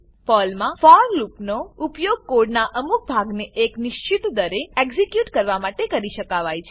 પર્લમાં ફોર લૂપનો ઉપયોગ કોડનાં અમુક ભાગને એક નિશ્ચિત દરે એક્ઝીક્યુટ કરાવવા માટે કરી શકાવાય છે